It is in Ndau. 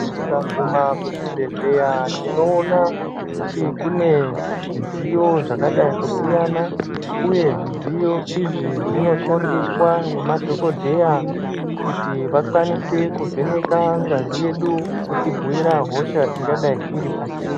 Tikaguma kuzvibhedhleya tinoona kuti kune zvidziyo zvakadai kusiyana uye zvidziyo zvi zvinoshandiswa ngemadhokodheya Kuti vakwanise kuvheneka ngazi yedu kutibhuira hosha ingadai iri patiri.